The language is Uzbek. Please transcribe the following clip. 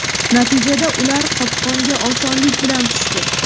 Natijada, ular qopqonga osonlik bilan tushdi.